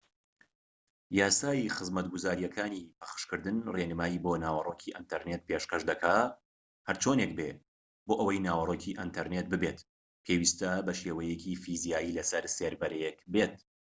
یاسای خزمەتگوزاریەکانی پەخشکردن ڕێنمایی بۆ ناوەڕۆکی ئینتەرنێت پێشکەش دەکات هەرچۆنێک بێت بۆ ئەوەی ناوەڕۆکی ئینتەرنێت بێت پێویستە بە شێوەیەکی فیزیایی لە سەر سێرڤەرێک بێت